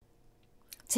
TV 2